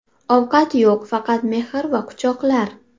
Ovqat yo‘q faqat mehr va quchoqlar .